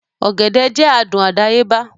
Ọ̀gẹ̀dẹ̀ jẹ́ adùn àdáyébá